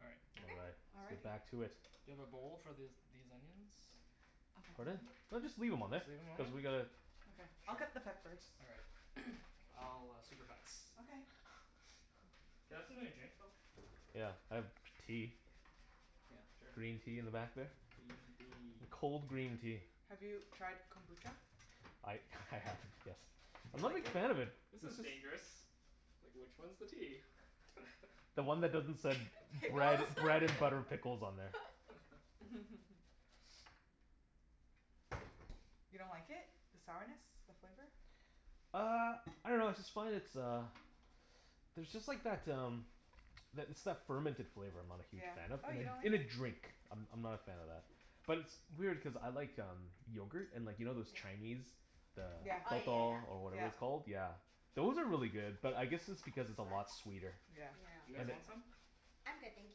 All right. All Okay. right. Let's get Alrighty. back to it. Do you have a bowl for this these onions? Pardon? No. just leave them on Just leave them on Cuz there? we gotta Okay, I'll cut the peppers. All right. I'll supervise. Okay Can I have something to drink, Phil? Yeah, I have tea. Yeah, sure. Green tea in the back there. Green tea. Cold green tea. Have you tried kombucha? I I have, yes. I'm not a big fan of it. This is dangerous. Like, which one's the tea? The one that doesn't said bread Pickles bread and butter pickles on there. You don't like it? The sourness? The flavor? Uh, I dunno I just find it's uh, there's just like that um that it's that fermented flavor I'm not a huge Yeah. fan of Oh, you don't like In a it? drink, I'm I'm not a fan of that. But it's- it's weird, cuz I like um, yogurt. And you know those Chinese, the Yeah, Oh, yeah, yeah, pathal, or whatever it's yeah. called. yeah. Yeah, those are really good. But I guess it's because it's a lot sweeter. That's You yeah. Yeah. guys want some? I'm good thank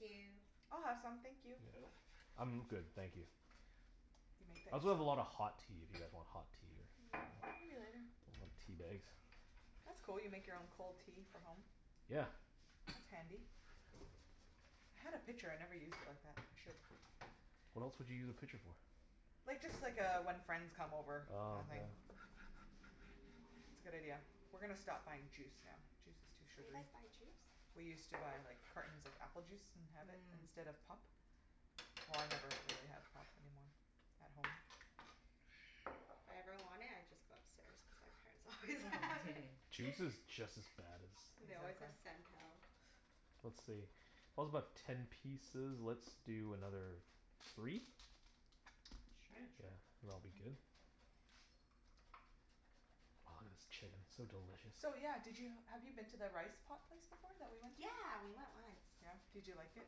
you. I'll have some, thank you. Phil? I'm good, thank you. You make that I also have yourself? a lot of hot tea, if you guys want hot tea or Maybe later. I want tea bags. That's cool, you make your own cold tea for home. Yeah. That's handy. I had a pitcher, I never used it like that. I should. What else would you use a pitcher for? Like, just like uh, when friends come over kinda thing. Oh, yeah. It's a good idea. We're gonna stop buying juice now. Juice is too You sugary. guys buy juice? We used to buy like cartons of apple juice and have it Mhm. instead of pop. Well, I never really have pop anymore at home. If I ever want it, I just go upstairs, cuz my parents always have it. Juice is just as bad And they as always Exactly. have Sental. Let's see. about ten pieces. Let's do another, three? Sure. Yeah, Yeah, sure. and it'll be good? Ah this chicken, so delicious. So yeah, did you have you been to the rice pot place before that we went to? Yeah, we went once. Yeah? did you like it?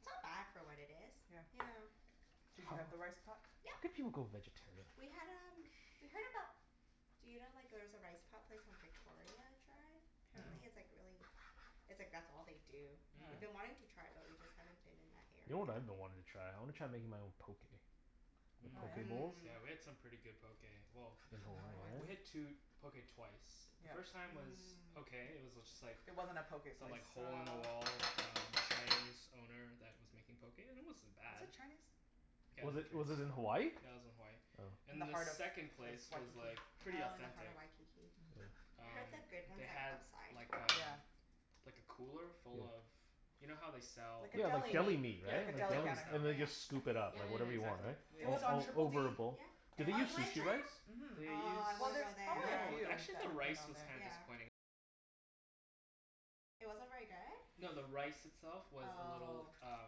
It's not bad for what it is. Yeah Yeah. Did you have the rice pot? How could Yeah. you go vegetarian? We had um we heard about. Do you know like there's a rice pot place on Victoria I tried? Mm- mm. Apparently, it's like really it's like that's all they do. We've Mhm. been wanting to Mhm. try it, but we just haven't been in that You know area. what I've been wanting to try? I want to try making my own. Poke Oh Mhm. yeah? bowls? Mhm, yeah. Mhm. Yeah, we had some pretty good poke. Well, In we had two Hawaii poke twice. The Yeah. first time was okay. It was just like It wasn't a poke Some place. like hole in Mmm. the Oh. wall um, Cantonese owner that was making poke and it wasn't Was bad. it Chinese? Yeah it Was was it was it in Hawaii? Chinese. Yeah it was in Hawaii. Oh. In the And the heart of second Wa- place was Waikiki. like, pretty Oh, in the heart authentic. of Waikiki. Mhm. Oh. I heard Um, that good they ones had like um Yeah. like a cooler full of, you know how they sell Like a like Yeah, like deli deli Yeah, meat, meat. Like a right? like deli deli counter. And then they Yeah, Yeah, just scoop it yeah, up, yeah. like whatever yeah, you Yeah. want, exactly. Yeah, It was right? on All Triple D yeah. over a bowl. Yeah. Did and they Oh you use the Beach went sushi Street, rice? there? mhm. Oh, I Well, wanna there's go probably a there. few that have been on there. Yeah. No, the rice itself was a little Oh. uh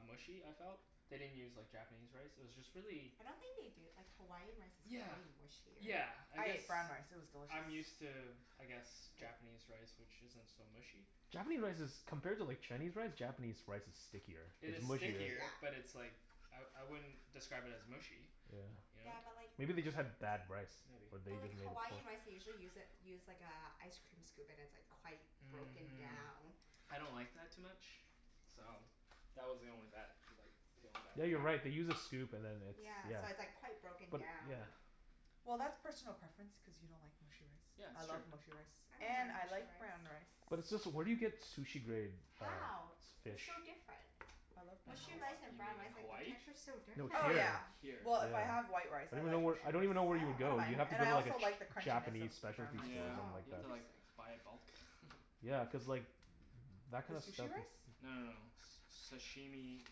mushy, I felt. They didn't use like Japanese rice, it was just really I don't think they do, like Hawaiian rice is Yeah, pretty mushier. yeah, I I guess ate brown rice. It was delicious. I'm used to, I guess Japanese rice which isn't so mushy. Japanese rice is compared to like Chinese rice, Japanese rice is stickier, It it's is It's sticky, mushier stickier, but yeah. it's like, I I wouldn't describe it as mushy, you know? Yeah. Yeah, but like Maybe they just had bad rice, Maybe or they But like Hawaiian rice, they usually use a use like a ice cream scoop and like it's quite broken Mhm down. I don't like that too much, so that was the only that like that was the only Yeah, you're right. They bad thing. use a scoop and then it's, Yeah, yeah. so it's like quite broken But, down. yeah. Well, that's personal preference, cuz you don't like mushy rice. Yeah I that's true. love mushy rice I don't and mind I mushy like brown rice. rice. But where do you get sushi-grade, uh How? They're fish? so different. I love brown In Mushy rice Hawa- and you brown mean rice. rice, in like the Hawaii? texture's so No, different. Oh here, yeah, here, Here. well, if I have yeah. white rice, I I don't even like kno- mushy I rice. don't even know where you would I don't go. mind. You'd have to Oh. And go I to also like the a crunchiness of Japanese brown specialty rice. store or Yeah, Oh, something like you have that. to like interesting. buy it bulk. Yeah, cuz like that The kind of stuff sushi rice? No no it's no, s- sashimi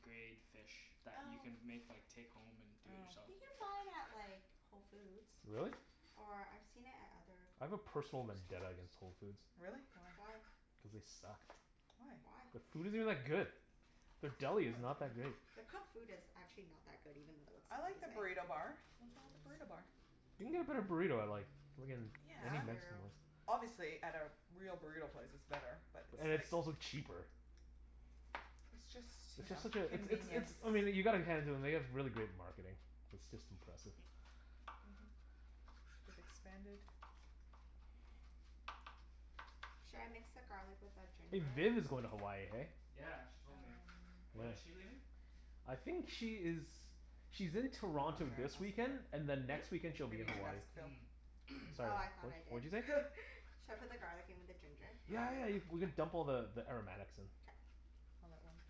grade fish that you Oh. can make like take home and do it Oh. yourself. You can buy it at like, Whole Foods. Really? Or I've seen it at other I have a grocery personal vendetta stores. against Whole Foods. Really? Why? Why? Cuz they suck. Why? Why? The food isn't that good. Their deli is not that great. Their cooked food is actually not that good, even though it looks I like the amazing. burrito bar. Nothin' wrong with the burrito bar. You can get a better burrito I like. Yeah. It's fair. Obviously, at like a real burrito place, it's better. But it's And it's like also cheaper. It's It's just you know, just such a it's it's convenience. it's I mean you gotta hand it to them, they have really great marketing. It's just impressive. Mhm. They've expanded. Should I mix the garlic with the Hey, ginger? Vin is going to Hawaii, hey? Yeah, she told me. Um When When? is she leaving? I think she is, she's in I'm Toronto not this sure, weekend and ask then next Phillip. weekend, she'll be Maybe in you Hmm? should Hawaii. ask Phil. Mhm Sorry, Oh, I thought wha- I what'd you say? did Should I put the garlic in with the ginger? Yeah, yeah, you we can dump all the the aromatics in. K. All at once.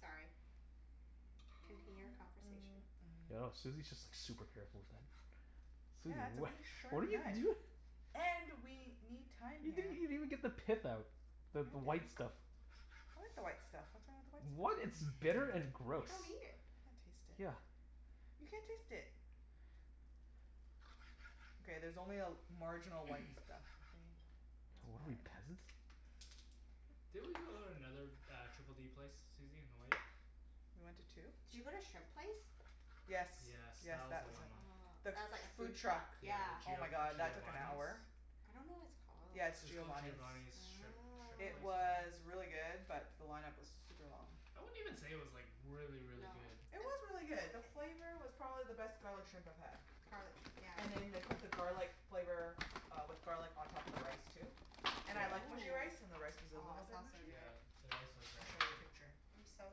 Sorry, continue your conversation. I know, Susie's just like super careful with that. Susie, Yeah it's a wha- really what are sharp you knife. doi-? And, we need time You didn't here. even even get the pith No out, the I the didn't. white stuff. I like the white stuff. What's wrong with the white What? stuff? It's bitter and You gross." don't Can't eat it. taste Yeah. it. You can't taste it. Okay, there's only a marginal white stuff, okay? It's What are we? fine. Peasants? Didn't we go to another uh, Triple D place Susie, in Hawaii? We went to two? Did you go to shrimp place? Yes, Yes, yes, that was that the was line it. Ah, The one. that's like a food food truck, truck. Yeah, the yeah. Oh Gio- my god that took an Giovani's. hour. I don't know what it's called. Yeah it's It was called Giovani's. Giovani's shrimp shrimp It place or Oh. was something? really good, but the line-up was super long. I wouldn't even say it was like, really, really No? good It was really good. The flavor was probably the best garlic shrimp I've had. Garlic shrimp, yeah. And then they put the garlic flavor uh, with garlic on top of the rice too. And I Yeah. like mushy rice and the rice was Ooh, a aw, little bit sounds so mushy. Yeah, good. the rice was I'll very show ya a mushy. picture. I'm so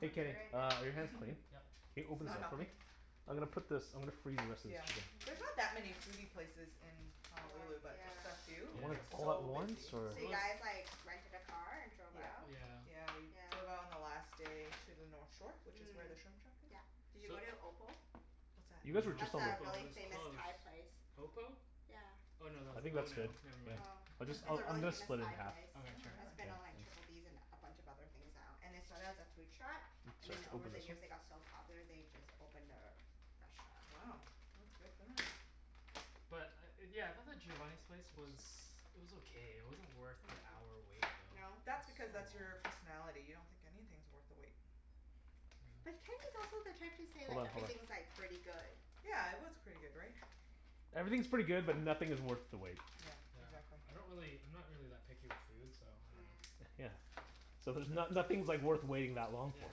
Hey hungry Kenny, right uh now are your hands clean? Yep. Hey it's open this not up for me? helping? I'm Nope. gonna put this I'm gonna freeze the rest of this Yeah. chicken. There's not that Hm. many foodie places in Hawaii, Honolulu, but just the yeah. few who Yeah. Want get it all at so once, busy. or? So It you was guys like, rented a car and drove Yeah, out? Yeah. yeah we drove out Yeah. on the last day to the north shore, which is Mhm, where the shrimp truck is. yeah. Did you So go to Opal? What's that? You guys were That's just on No, a the Opal, it really was famous closed. Thai place. Opal? Yeah. Oh, no tha- I think oh that's good, no, never m- mind. Oh, I'll jus- it's a really I'm gonna famous split it Thai half. place Oh Okay, sure. That's wow. been on Triple Ds and a bunch of other things now. And they started as a food truck So I have and then to over open the this. years they got so popular, they just opened their restaurant. Wow, that's good for them. But uh yeah, I thought the Giovani's place was it was okay. It wasn't worth the hour Mhm. wait though. No? That's So because, long. that's your personality. You don't think anything's worth the wait. But Kenny's Yeah. also the type to say Hold like, on, hold on. everything's like, pretty good. Yeah, it was pretty good, right? Everything's pretty good, but nothing is worth the wait. Yeah, Yeah, exactly. I don't really I'm not really that picky with food so I don't know. Mm. Yeah, so there's no- nothing's like worth waiting that long Yeah, for.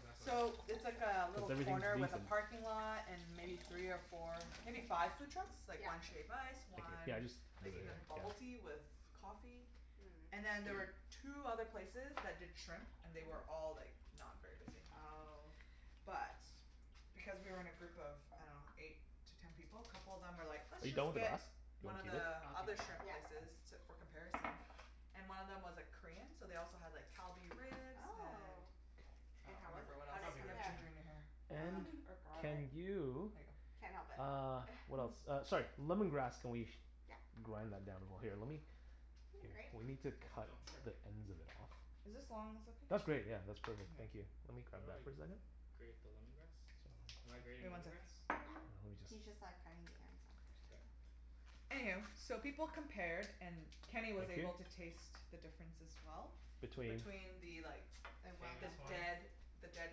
exactly. Cuz So, it's like a little everything's corner with decent. a parking lot and maybe three or four, maybe five food trucks? Like Yeah. one shave ice, one yeah just like leave it here, even bubble tea yeah. with coffee. And then there Mm. were two other places that did shrimp. And they were Mhm. all like, not very busy. Oh. But, because we were in a group of I dunno, eight to ten people, a couple of them were like, "Let's Are you just going to get one of the other shrimp places". I'll keep it Yeah. for comparison. And one of them was like Korean, so they also had like Kalbi ribs and Oh. And I And don't how was remember it? what How else. did it Kalbi You have ribs, compare? ginger in your hair. yeah. And or can garlic. There you, ya go. Can't help it uh what else? Uh sorry. Lemon grass. Can we Yeah. grind that down more? Here lemme, Need a grate? we need to cut Oh sure. the ends of it off. Is this long ones That's okay? great yeah, All that's perfect. Thank you. Let right. me How grab do that I for a second. grate the lemon grass? Am I grating Wait, one lemon sec grass? Yeah, he's just Okay. like cutting the ends off or Okay. something. Anywho, so people compared and Thank Kenny you. was able to taste the difference as well. Between? between the like, the Famous one? dead the dead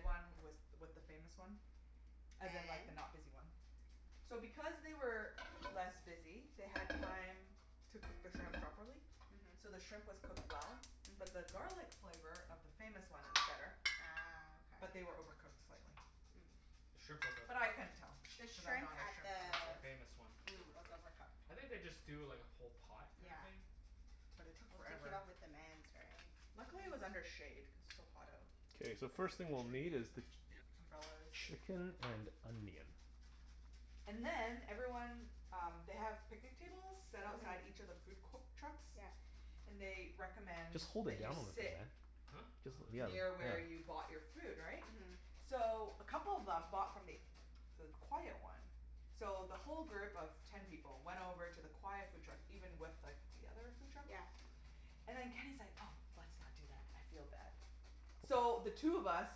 one with with the famous one. As in like the And? not busy one. So because they were less busy, they had time to cook the shrimp properly. Mhm. So the shrimp was cooked well, but the Mhm. garlic flavor of the famous one, it was better. Ah. But Okay. they were overcooked slightly. The shrimp Mm. was But I overcooked. couldn't tell The because I'm shrimp not a at shrimp the The connoisseur. famous one was mm was overcooked. overcooked. I think they just do like a whole pot kinda Yeah. thing. But it took forever. Luckily, it was Uh under shade, cuz it's so hot out. Okay, It's so the like first thing the we'll need trees is the, and umbrellas. chicken and onion. And then everyone um, they have picnic tables, set outside each Mhm. of the food co- trucks, Yeah. and they recommend Just hold that it you down sit Huh? Jus- yeah, near yeah. where you Oh bought your food, right? Mhm. So a couple of them bought from th- the quiet one. So the whole group of ten people went over to the quiet food truck even with like the other food truck. Yeah. And then Kenny's like, "Oh, let's not do that, I feel bad." So, the two of us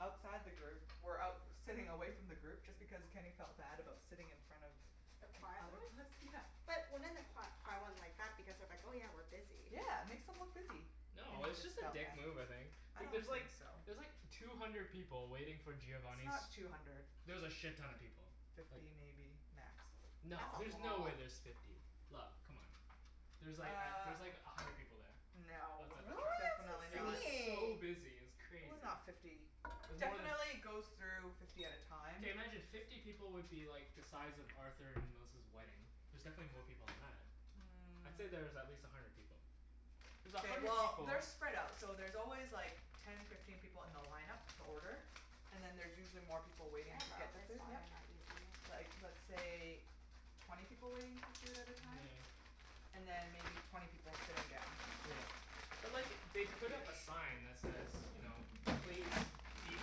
outside the group were out sitting away from the group just because Kenny felt bad about sitting in front of The the quiet other one? bus, yeah. But wouldn't the qui- quiet one like that because they're like, "Oh yeah, we're busy." Yeah, it makes them look busy. No, Kenny it was just just a felt dick bad. move I think. I Like don't there's think like, so. there's like two hundred people waiting for It's Giovani's not two hundred. There was a shit-ton of people, like Fifty maybe, max. No, That's a there's no way lot. there's fifty, love, c'mon. There's like Uh, there's like a hundred people there. no. Outside the Really? truck. Definitely, It That's was not. so insane! busy, it was It was crazy. not fifty. It was more tha- Definitely goes through fifty at a time. Okay, imagine fifty people would be like the size of Arthur and Melissa's wedding. There's definitely more people than that. I'd say that there's at Mm. least a hundred people. There's a OK, hundred well people they're spread out. So there's always like ten, fifteen people in the line-up to order. And then there's usually more people Can waiting I to get borrow their this food, while yeah. you're not using Like, it? let's say twenty people waiting for food at a time? And Yeah. then maybe twenty people sitting down. Yeah. But look it, they put up a sign that says you know, please Fiftyish eat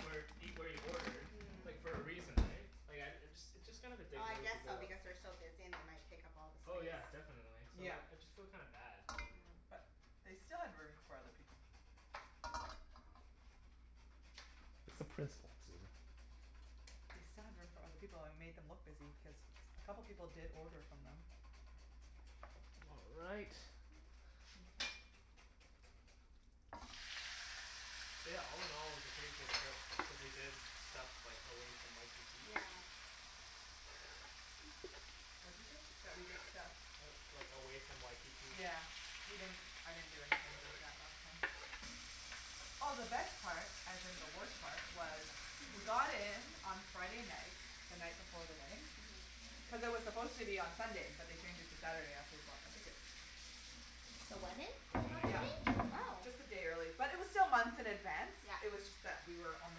where eat where you ordered Mm. like, for a reason, eh? Like, I uh, it's just kind of a dick I move to guess go so, up because they're so busy and they might take up all the Oh space. yeah, definitely. So Yeah, like, I just feel kinda bad. but Oh. they still had room for other people. It's the principle too. They still had room for other people and we made them look busy because a couple of people did order from them. All right. Thank you. Yeah, all- in- all, it was a pretty good trip, cuz we did stuff like away from Waikiki. Yeah. What you say? That we did stuff? Like away from Waikiki. Yeah, we didn't I didn't do anything like that last time. Oh, the best part, as in the worst part was. We got in on Friday night, the night before the wedding, Mhm. cuz it was supposed to be on Sunday but they changed it to Saturday after we bought our ticket. The wedding? The That wedding, yeah. Yeah, changed? Oh. just a day early. But it was still months in advance, Yeah. it was just that we were on the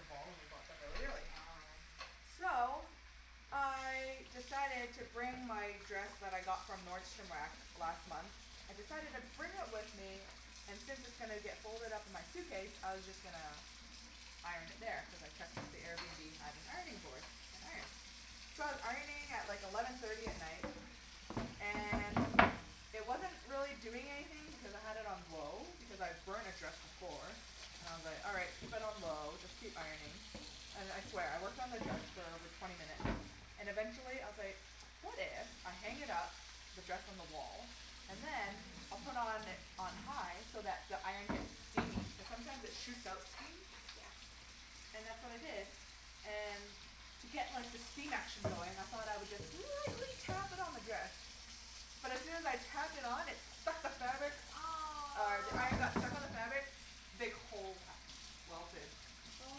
ball and we bought them really early. Oh. So, I decided to bring my dress that I got from Nordstrom Rack last month. I decided to bring it with me and since it's gonna get folded up in my suitcase, I was just gonna iron it there, cuz I checked that the Airbnb have an ironing board, an iron. So I was ironing at like eleven thirty at night and it wasn't really doing anything because I had it on low because I've burnt a dress before, and I was like, "All right, keep it on low, just keep ironing." And I swear, I worked on the dress for over twenty minutes and eventually I was like, "What if I hang it up, the dress on the wall, and then, I'll put on on high so that the iron gets steamy?" Cuz sometimes it shoots out steam. Yeah. And that's what I did. And to get like the steam action going, I thought I would just lightly tap it on the dress. But as soon as I tapped it on, it stuck to the fabric, uh the iron got Aw! stuck to the fabric big hole ha- welted Oh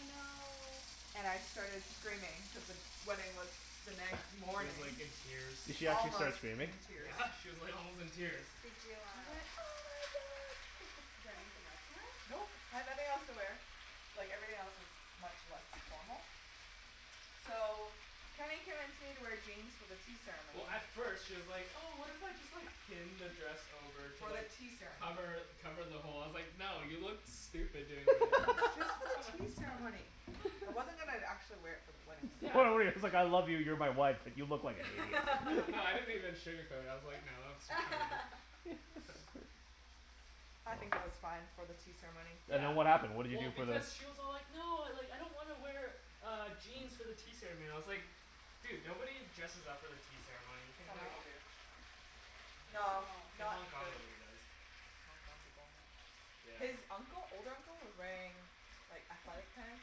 no. And I started screaming cuz the wedding was the She next was morning. like in tears. Did she actually start Almost screaming? in tears. Yeah, she was like almost in tears. Did you I uh went, "oh my god!" Did you have anything else to wear? Nope, I had nothing else to wear. Like, everything else was much less formal. So, Kenny convinced me to wear jeans for the tea Well, ceremony. at first, she was like, "Oh, what if I just like pin the dress over to For the like tea ceremony. cover cover the hole?" I was like, "No, you look stupid doing Just for the that." tea ceremony. I wasn't even actually wear it for the wedding it's like I love you, you're my wife, but you look like an idiot. No I didn't even sugarcoat it. I was like, "No, that looks retarded" I think it was fine for the tea ceremony. And then what happened? What did you Well, do for the? because she was all like, "No, I don't want to wear uh jeans for the tea ceremony." I was like, "Dude, nobody dresses up for the tea ceremony. You can Some like" people No? do. No, nobody No, does. No! In not Hong Kong, the nobody does. Hong Kong people, yeah. Yeah. His uncle old uncle was wearing like athletic pants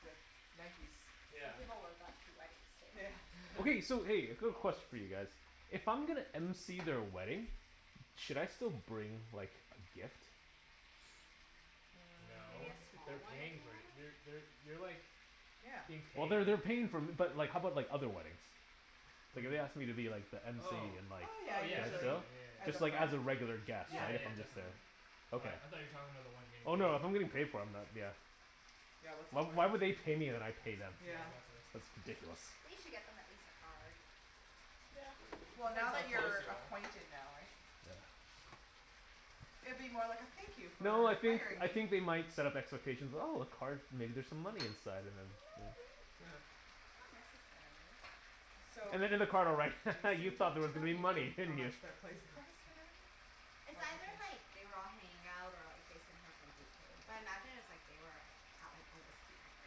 with Nikes. Some Yeah. people wear that to weddings too. Yeah. Okay, so hey, a quick question for you guys. If I'm gonna MC their wedding, should I still bring like a gift? No. Maybe a Mm. small They're one if paying you for it. want. You're they're you're like Yeah. being Well, paid. they're they're paying for but like how about like other weddings? What Like do if you they mean? asked me to be like the MC Oh in like, Oh yeah, oh should yeah, I usually. still? definitely. Yeah, yeah, As a Just like friend? as a yeah. regular guest, Yeah. Yeah, right? yeah I'm just there. definitely. Mhm. Okay. I I thought you were talking about the one you were getting Oh paid no, if I'm for. getting paid for, I'm not, yeah. Yeah, what's the point? Why would they pay me and I pay them? Yeah. that's why. That's ridiculous. They should get them at least a card. It Well, depends now how that close you're you are. acquainted now, right? Yeah. It'd be more like a thank you for No, I think hiring I me. think they might set up expectations, "Oh, a card, maybe there's some No, money inside," and then, yeah. may- not necessarily. So, And then in the card I'll write, "Ha ha, you Jason thought talked there to was gonna them. Do be you know money, how didn't you?" much their place cost and everything? It's either like, they were all hanging out or like Jason heard from BK. But I imagine it was like they were out like on whiskey night or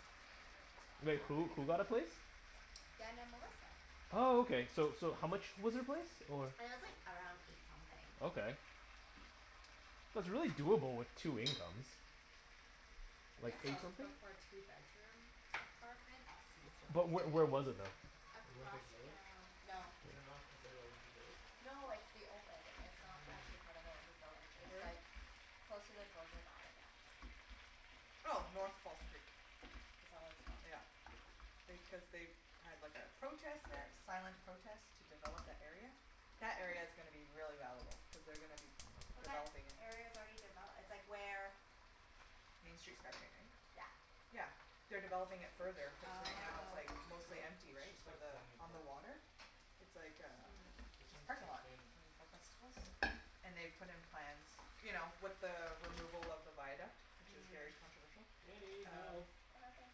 something and they were just talking Like about who? it. Who got a place? Dan and Melissa. Oh, okay. So so how much was their place or? It was like around eight something. Okay, that's really doable with two incomes. I Like guess eight so, something? but for a two bedroom apartment that seems But really wh- steep. where was it though? Olympic Across Village. from, no. Is it not considered Olympic Village? No, it's the old building. It's not actually Mm. part of Olympic Village. I see. It's Where is like it? close to the Georgia Viaduct. Oh. North False Creek. Is that what it's called? Yeah. They, cuz they had like a protest there. Silent protest to develop that area. That area's gonna be really valuable cuz they're gonna be But that developing it. area's already devel- it's like where Main Street SkyTrain, right? Yeah. Yeah. They're developing it further cuz right now it's Oh. like Oh, mostly empty, it's right? just For like the, falling on apart. the water? It's like a Mm. This just one's parking too lot. thin. And for festivals. And they've put in plans, you know, with the removal of the viaduct, which is very Mm. controversial, Wenny, um help. What happened?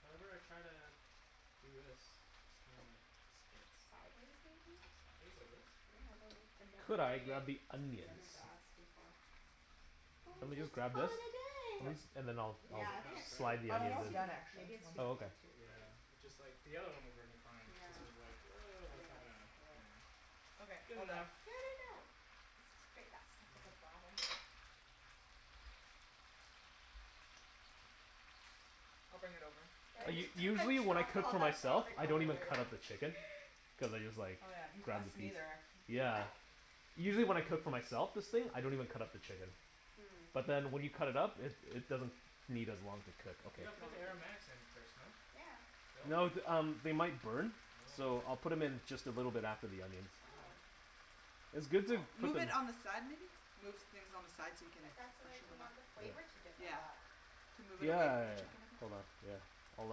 Whenever I try to do this it just kinda like splits. Sideways, maybe? Sideways like this? Yeah, I dunno. I never Could I braided grab the onions? lemongrass before. Do Or you want Mm. me to just just grab call this? it a At day. Yep. least, and then I think I'll that's I'll Yeah, I like think half, it's too, right? slide the oh I'm maybe it's onions almost in? too, done, actually. maybe it's One too Oh, second. thin okay. to braid. Yeah, it just like, the other one was working fine but Yeah. this one's like, woah, I that's mean, not let's, gonna, yeah. anything. Okay. Good All done. enough. Good enough. Let's just grate that stuff at the Yeah. bottom. I'll bring it over. Did Phil? U- I usually just when I drop cook all for that myself garlic I on the don't even way pretty over? cut up the much. chicken. Cuz I just like Oh, yeah. Us grab the piece. neither, actually. You Yeah. what? Usually when I cook for myself, this thing, I don't even cut up the chicken. Mm. But then when you cut it up it it doesn't need as long to cook. You Okay. You gotta put the wanna aromatics in first, no? Yeah. Phil? No th- um, they might burn. Oh. So I'll put 'em in just a little bit after the onions. All Oh. right. It's good to Well, put move it them on the side, maybe? Move things on the side so you can But that's what, freshen you them up. want the flavor Yeah. to Yeah. develop. Could move it Yeah away yeah from the yeah. chicken a bit. Hold on. Yeah. I'll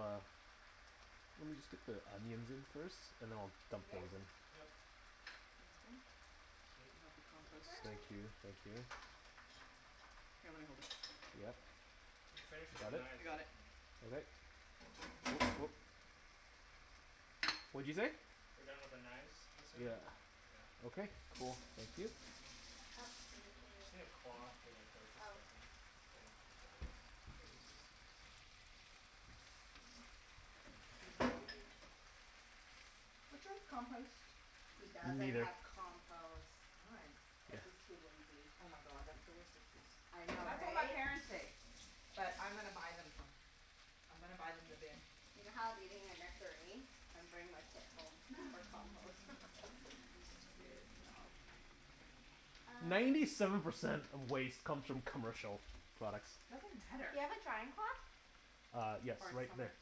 uh Let me just get the onions in first, and then I'll You dump good? those in. Yep. Sounds good. I Sweet. Bend can help you this compost. over. Thank you. Thank you. Here, let me hold it. Yep. You've finished with the Got it? I knives, eh? got it. Yeah. Okay. Woop. What'd you say? We're done with the knives, I'm assuming? Yeah. Yeah. Okay, cool. Thank you. Uh Oh, do you need to Just need a cloth to like wipe the Oh. stuffing. Yeah. Should I use this? I guess so. Excuse me. Which one's compost? He Me doesn't neither. have compost. Why? Yeah. Cuz he's too lazy. Oh my god, that's the worst excuse. I know, That's what my right? parents say. But I'm gonna buy them some. I'm gonna buy them the bin. You know how I was eating a nectarine? I'm bringing my pit home for compost. Good job. Uh Ninety seven percent of waste comes from commercial products. Doesn't matter. Do you have a drying cloth? Uh yes. Or Right there. somewhere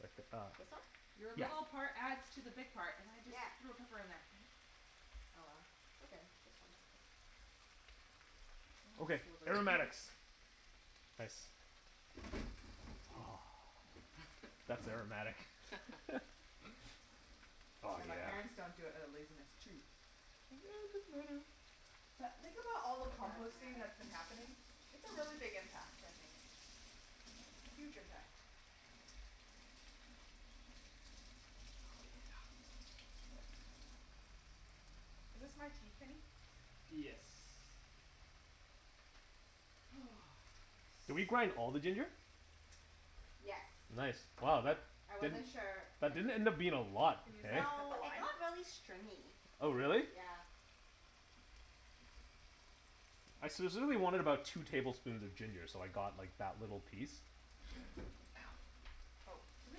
Right th- uh This one? Your Yeah. little part adds to the big part. And I just Yeah. threw a pepper in there. Damn it. Oh well, it's okay. It's just one pepper. One Okay. sliver. Aromatics. Nice. Oopsies. That's aromatic. Oh, Yeah, my parents yeah. don't do it outta laziness, too. Think, "Oh, it doesn't matter." But think about all the It does composting matter. that's been happening. It's a really big impact, I think. Huge impact. Oh Oh yeah. no. Is this my tea, Kenny? Yes. Did we Nice. grind all the ginger? Yes. Nice. Wow, that I wasn't didn't, sure. I that didn't just did end it up being a lot, Can use hey? that to cut No, the it lime? got really stringy. It Oh was, really? yeah. I specifically wanted about two tablespoons of ginger, so I got like that little piece. Ow. Oh, do we